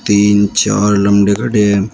तीन चार लम्बे खड़े हैं।